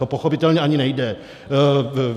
To pochopitelně ani nejde.